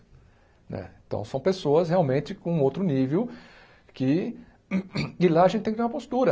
Né então, são pessoas realmente com outro nível que... E lá a gente tem que ter uma postura.